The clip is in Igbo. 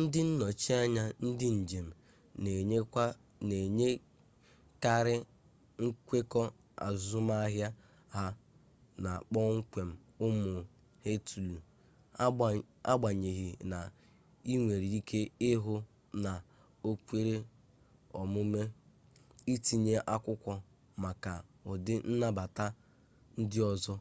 ndị nnọchi anya ndị njem na-enwekarị nkwekọ azụmahịa ha na kpọmkwem ụmụ họteelụ agbanyeghị na ị nwere ike ịhụ na o kwere omume itinye akwụkwọ maka ụdị nnabata ndị ọzọ